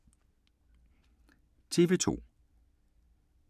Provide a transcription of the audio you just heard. TV 2